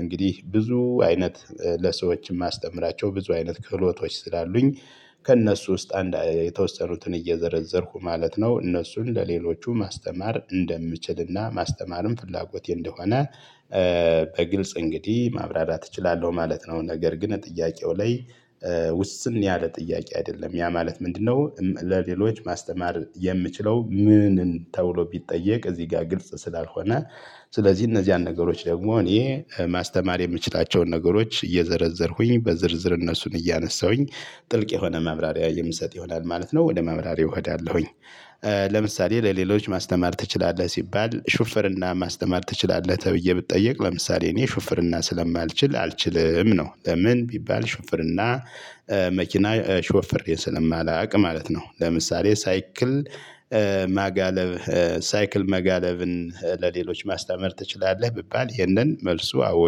እንግዲህ ብዙ አይነት ለሰዎች ማስተምራቸው ብዙ አይነት ክህሎቶች ስላሉኝ። ከእነሱ ውስጥ አንድ የተወሰኑትን እየዘረዘርኩ ማለት ነው እነሱን ለሌሎቹ ማስተማር እንደምችልና ማስተማርም ፍላጎቴ እንደሆነ። በግልጽ እንግዲህ ማብራራት እችላለው ማለት ነው። ነገር ግን ጥያቄው ላይ ውስን ያለ ጥያቄ አይደለም። ያ ማለት ምንድነው? ለሌሎች ማስተማር የምችለው ምን ተብሎ ቢጠየቅ እዚ ጋ ግልጽ ስላልሆነ። ስለዚ እነዚያን ነገሮች ደሞ እኔ ማስተማር የምችላቸውን ነገሮች እየዘረዘርኩኝ በዝርዝር እነሱን እያነሳሁኝ ጥልቅ የሆነ ማብራሪያ የምሰጥ ይሆናል ማለት ነው። ወደ ማብራሪያው እሄዳለሁኝ። ለምሳሌ ለሌሎች ማስተማር ትችላለህ ሲባል ሹፍርና ማስተማር ትችላለህ ተብዬ ብጠየቅ ለምሳሌ እኔ ሹፍርና ስለማልችል አልችልም ነው። ለምን ቢባል ሹፍርና መኪና ሾፍሬ ስለማላቅ ማለት ነው። ለምሳሌ ሳይክል ማጋለብ ሳይክል መጋለብን ለሌሎች ማስተማር ትችላለህ ብባል ይሄንን መልሱ አዎ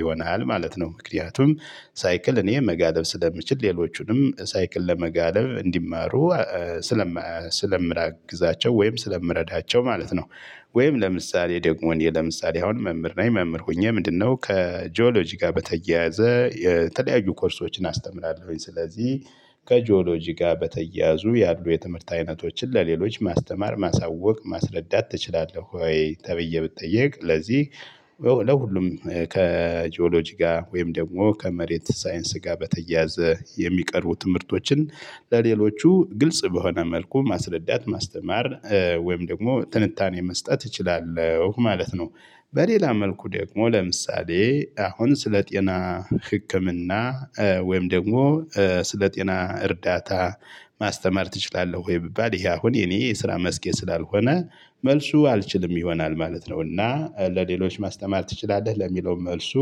ይሆናል ማለት ነው። ምክንያቱም ሳይክል እኔ መጋለብ ስለምችል ሌሎቹንም ሳይክል ለመጋለብ እንዲማሩ ስለማግዛቸው ወይም ስለምረዳቸው ማለት ነው። ወይም ለምሳሌ ደግሞ እኔ ለምሳሌ አሁን መምህር ነኝ። መምህር ሆኜ ምንድነው ከጂኦሎጂ ጋር በተያያዘ የተለያዩ ኮርሶችን አስተምራለሁኝ ስለዚ ከጂኦሎጂ ጋር በተያያዙ ያሉ የትምህርት አይነቶችን ለሌሎች ማስተማር ማሳወቅ ማስረዳት ትችላለህ? ወይ ተብዬ ብጠየቅ። ለዚ ለሁሉም ከጂኦሎጂ ጋር ወይም ደግሞ ከመሬት ሳይንስ ጋር በተያያዘ የሚቀርቡ ትምህርቶችን ለሌሎቹ ግልጽ በሆነ መልኩ ማስረዳት ማስተማር ወይም ደግሞ ትንታኔ መስጠት እችላለሁ ማለት ነው። በሌላ መልኩ ደግሞ ለምሳሌ አሁን ስለ ጤና ህክምና ወይም ደግሞ ስለ ጤና እርዳታ ማስተማር ትችላለህ ወይ? ብባል ይሄ አሁን የኔ የስራ መስኬ ስላልሆነ መልሱ አልችልም ይሆናል ማለት ነው። እና ለሌሎች ማስተማር ትችላለህ ለሚለው መልሱ።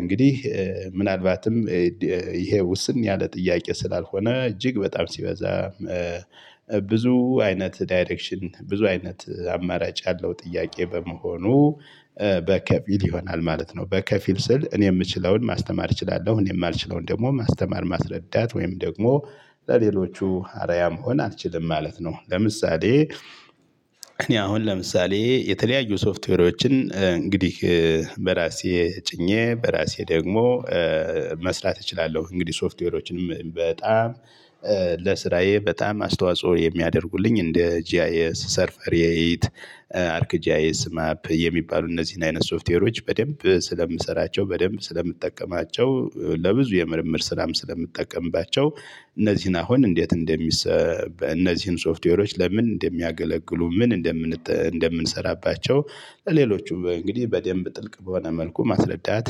እንግዲህ ምናልባትም ይሄ ውስን ያለ ጥያቄ ስላልሆነ እጅግ በጣም ሲበዛ ብዙ አይነት ዳይሬክሽን ብዙ አይነት አማራጭ ያለው ጥያቄ በመሆኑ በከፊል ይሆናል ማለት ነው። በከፊል ስል እኔ ምችለውን ማስተማር እችላለሁ እኔ ማልችለውን ደግሞ ማስተማር ማስረዳት ወይም ደግሞ ለሌሎቹ አርአያ መሆን አልችልም ማለት ነው። ለምሳሌ እኔ አሁን ለምሳሌ የተለያዩ ሶፍትዌሮችን እንግዲህ በራሴ ጭኜ በራሴ ደግሞ መስራት እችላለሁ። እንግዲህ ሶፍትዌሮችንም በጣም ለስራዬ በጣም አስተዋጽኦ የሚያደርጉልኝ እንደ ጂአይኤስ ሰርፈሪ ኤት አርክ ጂአይኤስ ማፕ የሚባሉ እነዚህን አይነት ሶፍትዌሮች በደንብ ስለምሰራቸው በደንብ ስለምጠቀማቸው። ለብዙ የምርምር ስራም ስለምጠቀምባቸው እነዚህን አሁን እንዴት እንደሚሰ እነዚህን ሶፍትዌሮች ለምን እንደሚያገለግሉ ምን እንደምንጠ እንደምንሰራባቸው ለሌሎቹ እንግዲህ በደንብ ጥልቅ በሆነ መልኩ ማስረዳት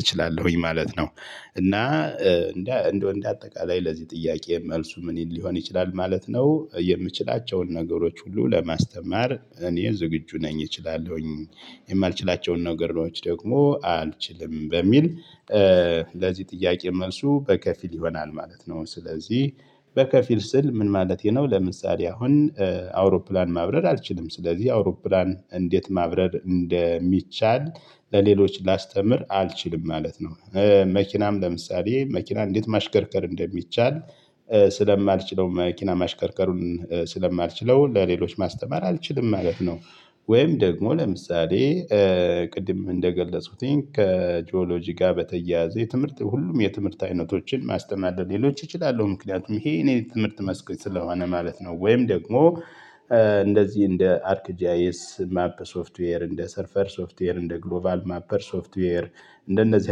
እችላለሁኝ ማለት ነው። እና እንደ እንደ አጠቃላይ ለዚህ ጥያቄ መልሱ ምን ሊሆን ይችላል ማለት ነው። የምችላቸውን ነገሮች ሁሉ ለማስተማር እኔ ዝግጁ ነኝ እችላለሁኝ። የማልችላቸውን ነገሮች ደግሞ አንችልም በሚል ለዚ ጥያቄ መልሱ በከፊል ይሆናል ማለት ነው። ስለዚህ በከፊል ስል ምን ማለቴ ነው ለምሳሌ አሁን አውሮፕላን ማብረር አልችልም ስለዚ አውሮፕላን እንዴት ማብረር እንደሚቻል ለሌሎች ላስተምር አልችልም ማለት ነው። መኪናም ለምሳሌ መኪና እንዴት ማሽከርከር እንደሚቻል ስለማልችለው መኪና ማሽከርከሩን ስለማልችለው ለሌሎች ማስተማር አልችልም ማለት ነው። ወይም ደግሞ ለምሳሌ ቅድም እንደገለጽኩትኝ ከጂኦሎጂ ጋር በተያያዘ የትምህርት ሁሉም የትምህርት አይነቶችን ማስተማር ለሌሎች እችላለው ምክንያቱም ይሄ እኔ የትምህርት መስክ ስለሆነ ማለት ነው። ወይም ደግሞ እንደዚ እንደ አርክ ጂአይኤስ ማፕ ሶፍትዌር እንደ ሰርፈር ሶፍትዌር እንደ ግሎቫል ማፐር ሶፍትዌር እንደነዚህ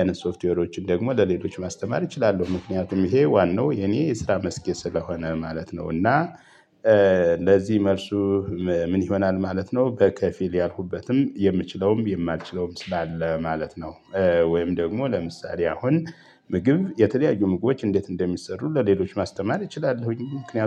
አይነት ሶፍትዌሮችን ደግሞ ለሌሎች ማስተማር እችላለው። ምክንያቱም ይሄ ዋናው የኔ የስራ መስኬ ስለሆነ ማለት ነው። እና እንደዚ መልሱ ምን ይሆናል ማለት ነው። በከፊል ያልኩበትም የምችለውም የማልችለውም ስላለ ማለት ነው። ወይም ደግሞ ለምሳሌ አሁን ምግብ የተለያዩ ምግቦች እንዴት እንደሚሰሩ ለሌሎች ማስተማር እችላለሁኝ ምክንያቱም